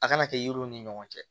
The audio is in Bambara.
A kana kɛ yiriw ni ɲɔgɔn cɛ